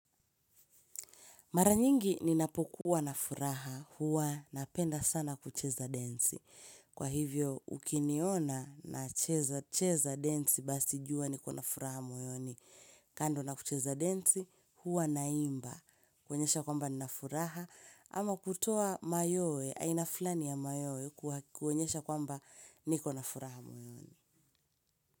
Maranyingi ninapokuwa na furaha huwa na penda sana kucheza densi. Kwa hivyo, ukiniona na cheza, cheza densi basi juwa niko na furaha moyoni. Kando na kucheza densi huwa na imba kuonyesha kwamba nina furaha ama kutoa mayoe, aina fulani ya mayoe kuonyesha kwamba niko na furaha moyoni.